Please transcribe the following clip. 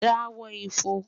da họ ifọ̀n